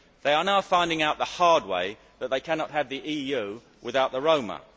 They are now finding out the hard way that they cannot have the EU without the Roma.